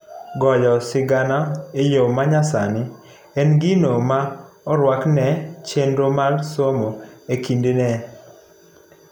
goyo sigana eyoo manyasani en gino ma oruaki ne chenro mar somo ekindeni.